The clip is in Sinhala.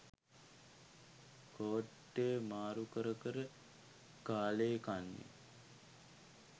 කෝට්ටේ මාරු කර කර කාලේ කන්නේ.